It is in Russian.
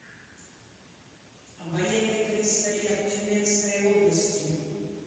военный комиссариат тюменской области